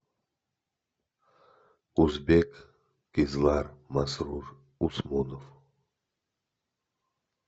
узбек кизлар масрур усмунов